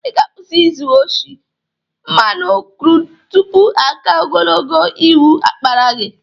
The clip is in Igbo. Ị ga-akwusị ịzụ oshi mmanụ krud tupu aka ogologo iwu akpara gị!